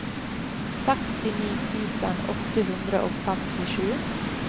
sekstini tusen åtte hundre og femtisju